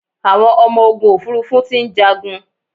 Àwọn ọmọ ogun òfurufú ti ń jàgun